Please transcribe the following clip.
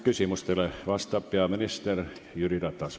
Küsimustele vastab peaminister Jüri Ratas.